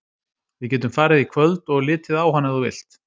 Við getum farið í kvöld og litið á hann ef þú vilt.